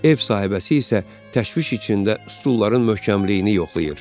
Ev sahibəsi isə təşviş içində stulların möhkəmliyini yoxlayır.